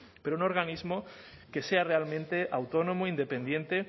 pero un organismo que sea realmente autónomo independiente